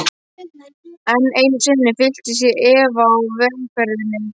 Enn einu sinni fylltist ég efa á vegferðinni.